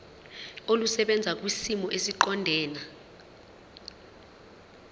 olusebenza kwisimo esiqondena